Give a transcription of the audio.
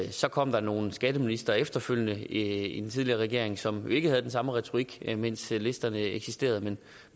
så kom der nogle skatteministre efterfølgende i den tidligere regering som ikke havde den samme retorik mens listerne eksisterede men